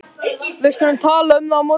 Við skulum tala um það á morgun